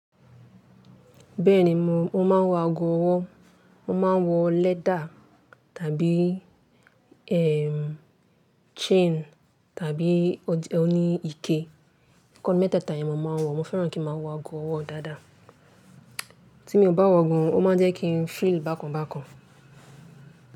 Bẹ́ẹ̀ni mo, mo máa ń wọ ago ọwọ́, mo máa ń wọ leather tàbí, eh, chain tàbí o ní ike. Ẹ̀kan nu meteta yen ni mọ̀ máa ń wọ. Mo fẹ́ràn kí n máa wọ ago ọwọ́ dáadáa. Tí mo bá wọ ogun, ó máa ń jẹ́ kí n feel bákan bákan.